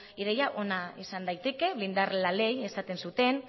ideia ona izan daiteke blindar la ley esaten zuten